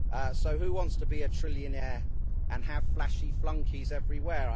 So who wants to be a trillionaire and have flashy flunkies everywhere?